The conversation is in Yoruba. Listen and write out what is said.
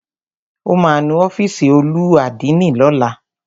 Ó ma nu ọ́fìsì olú àdínì lọ́la.